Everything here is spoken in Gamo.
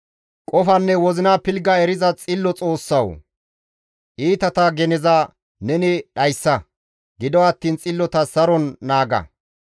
Qofanne wozina pilgga eriza xillo Xoossawu! Iitata geneza neni dhayssa; gido attiin xillota saron naaga.